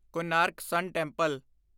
Konark sun temple